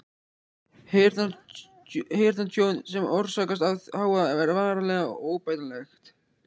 Heyrnartjón sem orsakast af hávaða er varanlegt og óbætanlegt.